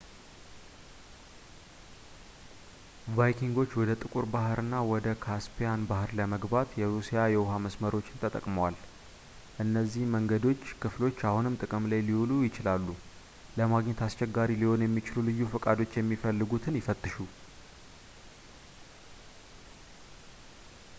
ቫይኪንጎች ወደ ጥቁር ባሕር እና ወደ ካስፔያን ባሕር ለመግባት የሩሲያ የውሃ መስመሮችን ተጠቅመዋል የእነዚህ መንገዶች ክፍሎች አሁንም ጥቅም ላይ ሊውሉ ይችላሉ ለማግኘት አስቸጋሪ ሊሆን ለሚችል ልዩ ፈቃዶች የሚፈለጉትን ይፈትሹ